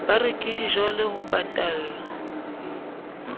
ba reke dijole ho patalla